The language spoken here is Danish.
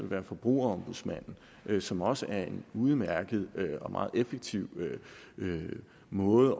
være forbrugerombudsmanden som også er en udmærket og meget effektiv måde